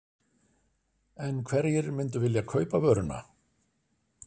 En hverjir myndu vilja kaupa vöruna?